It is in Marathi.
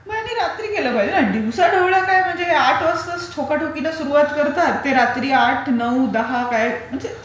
त्यांनी रात्री केलं पाहिजे न दिवसा ढवल्या काय म्हणजे आठ वाजताच ठोकाठोकीला सुरुवात करतात, ते रात्री आठ, नऊ, दहा काय म्हणजे...